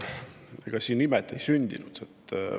No ega siin imet ei sündinud.